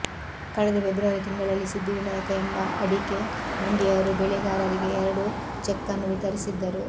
ಕಳೆದ ಫೆಬ್ರುವರಿ ತಿಂಗಳಲ್ಲಿ ಸಿದ್ದಿವಿನಾಯಕ ಎಂಬ ಅಡಿಕೆ ಮಂಡಿಯವರು ಬೆಳೆಗಾರರಿಗೆ ಎರಡು ಚೆಕ್ಅನ್ನು ವಿತರಿಸಿದ್ದರು